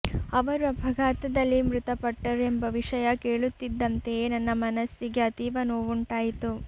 ಅವರು ಅಪಘಾತದಲ್ಲಿ ಮೃತಪಟ್ಟರು ಎಂಬ ವಿಷಯ ಕೇಳುತ್ತಿದ್ದಂತೆಯೇ ನನ್ನ ಮನಸ್ಸಿಗೆ ಅತೀವ ನೋವುಂಟಾಯಿತು